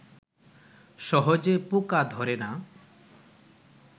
সহজে পোকা ধরে না